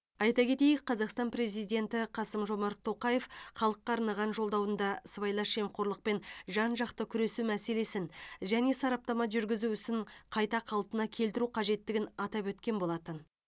айта кетейік қазақстан президенті қасым жомарт тоқаев халыққа арнаған жолдауында сыбайлас жемқорлықпен жан жақты күресу мәселесін және сараптама жүргізу ісін қайта қалпына келтіру қажеттігін атап өткен болатын